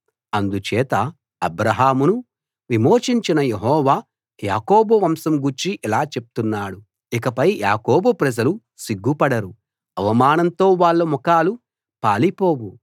అందుచేత అబ్రాహామును విమోచించిన యెహోవా యాకోబు వంశం గూర్చి ఇలా చెప్తున్నాడు ఇకపై యాకోబు ప్రజలు సిగ్గుపడరు అవమానంతో వాళ్ళ ముఖం పాలిపోవు